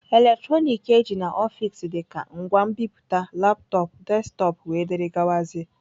Eletrọnịkị eji n'ọfịs dịka ngwa nbipute, laptọọpụ, desktọpụ wdg.